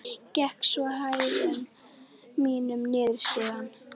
Gekk svo í hægðum mínum niður stigann.